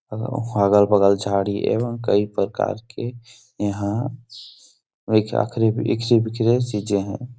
अगल- बगल झाड़ी एवं कई प्रकार के यहाँ चीजें हैं।